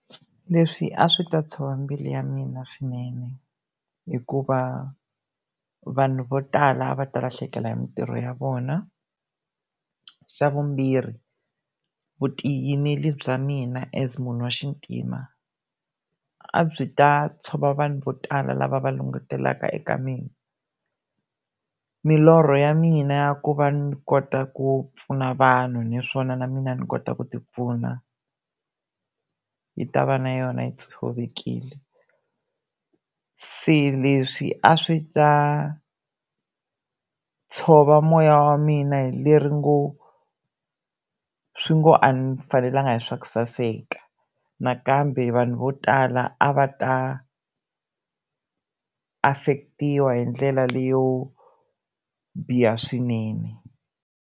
Leswi a swi ta tshova mbilu ya mina swinene, hikuva vanhu vo tala va ta lahlekeriwa hi mintirho ya vona. Xa vumbirhi vutiyimiri bya mina as munhu waxintima a byi ta tshova vanhu vo tala lava va langutelaka eka mina. Milorho ya mina ya ku va ni kota ku pfuna vanhu naswona na mina ni kota ku ti pfuna yi ta va na yona yi tshovekile. Se leswi a swi ta tshova moya wa mina hi leri ngo, swi ngo a ni fanelanga hi swaku saseka, nakambe vanhu vo tala a va ta affectiwa hindlela leyo biha swinene.